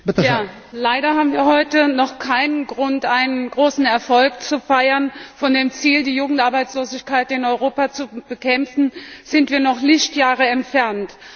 Herr Präsident! Leider haben wir heute noch keinen Grund, einen großen Erfolg zu feiern. Von dem Ziel, die Jugendarbeitslosigkeit in Europa zu bekämpfen, sind wir noch Lichtjahre entfernt.